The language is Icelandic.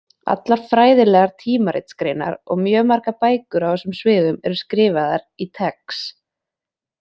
Allar fræðilegar tímaritsgreinar og mjög margar bækur á þessum sviðum eru skrifaðar í TeX.